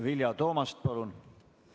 Vilja Toomast, palun!